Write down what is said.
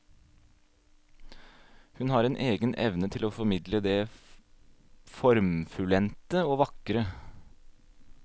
Hun har en egen evne til å formidle det formfullendte og vakre.